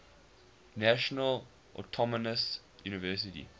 national autonomous university